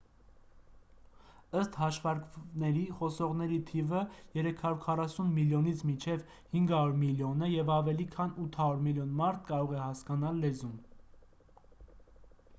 ըստ հաշվարկների խոսողների թիվը 340 միլիոնից մինչև 500 միլիոն է և ավելի քան 800 միլիոն մարդ կարող է հասկանալ լեզուն